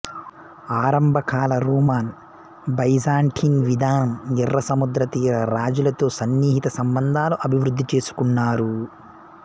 ఆరంభకాల Roman Byzantine విధానం ఎర్రసముద్రతీర రాజులతో సన్నిహిత సంబంధాలు అభివృద్ధి చేసుకున్నారు